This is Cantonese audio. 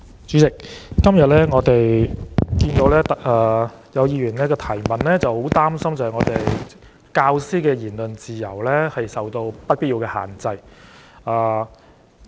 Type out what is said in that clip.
主席，我今天看到有議員提出質詢，擔心教師的言論自由受到不必要的限制。